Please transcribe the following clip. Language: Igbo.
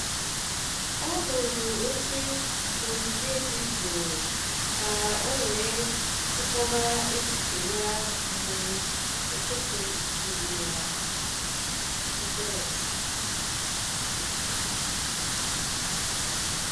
Ọ hụrụ oche n’ogige dị jụụ ka o wee chịkọba echiche ya mgbe ụtụtụ juru ya stress.